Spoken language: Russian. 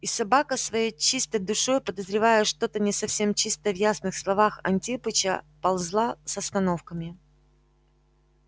и собака своей чистой душой подозревая что-то не совсем чистое в ясных словах антипыча ползла с остановками